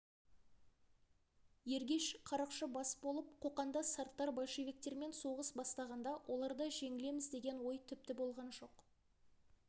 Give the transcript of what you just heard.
ергеш қарақшы бас болып қоқанда сарттар большевиктермен соғыс бастағанда оларда жеңілеміз деген ой тіпті болған жоқ